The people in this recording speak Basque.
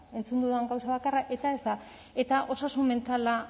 entzun dudan gauza bakarra eta ez da eta osasun mentala